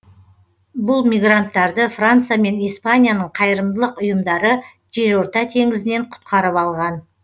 бұл мигранттарды франция мен испанияның қайырымдылық ұйымдары жерорта теңізінен құтқарып алған